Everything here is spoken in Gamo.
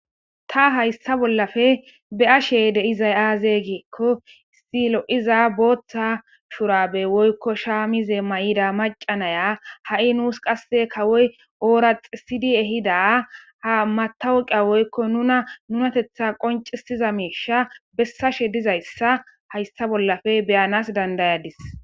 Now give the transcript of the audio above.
Ta hayssa bollafe be ashe deizay aazeygeekko issilo7iza booththa shurabe woykko shaamize may7ida macanaya ha7i nuus qasse kawoy ooraxi sidi ehida ha matawuqia woykko nuna nunatetha qoncisiza miisha bessashe dizayssa hayssa bollafe beyanas dandayadis.